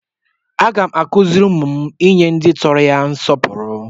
Aga m akụziri ụmụ m inye ndị tọrọ ha nsọpụrụ.